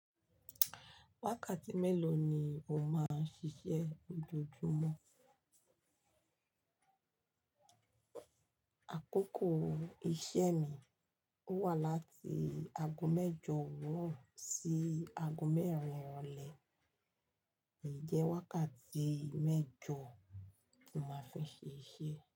Mélòó ni o máa n ṣiṣẹ́ lojoojúmọ́? Àkókò iṣẹ́ mi wà láti ago mẹ́jọ òwúrọ̀ sí ago mẹ́rin irọ̀lẹ. Eyi jẹ́ wákàtí mẹ́jọ̀ tí n máa fi n ṣe iṣẹ́